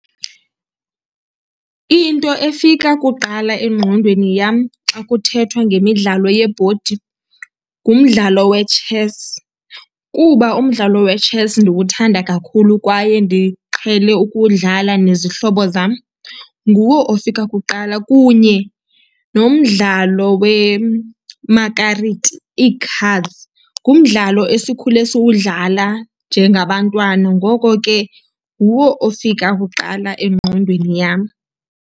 Into efika kuqala engqondweni yam xa kuthethwa ngemidlalo yebhodi ngumdlalo wetshesi, kuba umdlalo wetshesi ndiwuthanda kakhulu kwaye ndiqhele ukuwudlala nezihlobo zam. Nguwo ofika kuqala kunye nomdlalo wemakariti, ii-cards, ngumdlalo esikhule siwudlala njengabantwana. Ngoko ke nguwo ofika kuqala engqondweni yam.